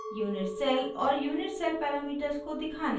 unit cell और unit cell parameters को दिखाना